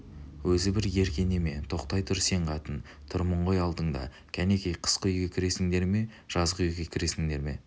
өзі бір ерке неме тоқтай тұр сен қатын тұрмын ғой алдыңда кәнекей қысқы үйге кіресіңдер ме жазғы үйге кіресіңдер ме